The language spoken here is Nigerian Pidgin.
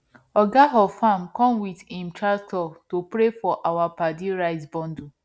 oga of farmer come with im tractor to pray for our paddy rice bundle